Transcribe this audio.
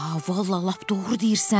Hə, vallah lap doğru deyirsən.